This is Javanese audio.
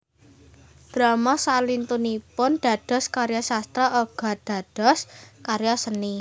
Drama salintunipun dados karya sastra uga dados karya seni